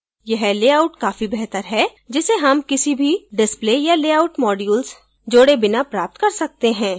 यह लेआउट काफी बेहतर है जिसे हम किसी भी display या layout modules जोड़े बिना प्राप्त कर सकते हैं